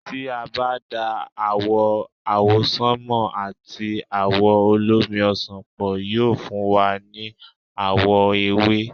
tí a bá da àwò̩ àwọsánmà àti àwò̩ olómi ọsàn pọ̀, yóò fún wa ní àwọ̀ ewé